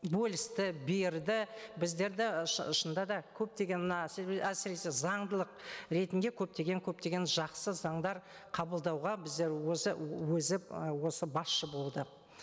бөлісті берді біздерді і шынында да көптеген мына әсіресе заңдылық ретінде көптеген көптеген жақсы заңдар қабылдауға біздер өзі өзі ы осы басшы болды